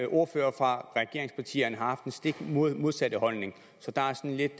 ordførere fra regeringspartierne har haft den stik modsatte holdning så der er sådan lidt